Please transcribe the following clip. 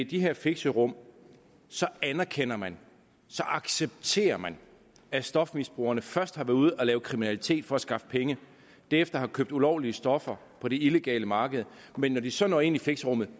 de her fixerum anerkender man accepterer man at stofmisbrugerne først har været ude at lave kriminalitet for at skaffe penge og derefter har købt ulovlige stoffer på det illegale marked men når de så når ind i fixerummet